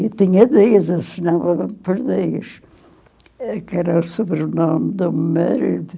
Eu tinha dez, assinava por dez, eh, que era o sobrenome do meu marido.